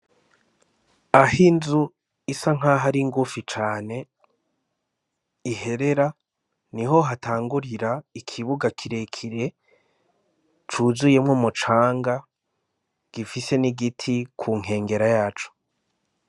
Aho inzu isa n'aho ari ngufi cane iherera, niho hatangurira ikibuga kirekire cuzuyemwo umucanga, gifise n'igiti ku nkengera yaco.